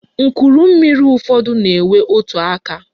Nchummiri ụfọdụ na-enwe otu aka.